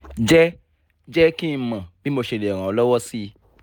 jẹ́ jẹ́ kí n mọ̀ bí mo ṣe lè ràn ọ́ lọ́wọ́ sí i